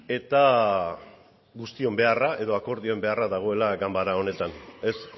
eta guztion beharra edo akordioen beharra dagoela ganbara honetan ez